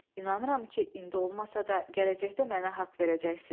İnanıram ki, indi olmasa da, gələcəkdə mənə haqq verəcəksiniz.